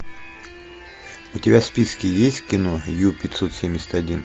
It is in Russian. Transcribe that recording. у тебя в списке есть кино ю пятьсот семьдесят один